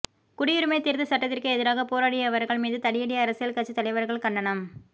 குடியுரிமை திருத்தச்சட்டத்திற்கு எதிராக போராடியவர்கள் மீது தடியடி அரசியல் கட்சி தலைவர்கள் கண்டனம்